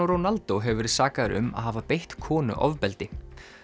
Ronaldo hefur verið sakaður um að hafa beitt konu ofbeldi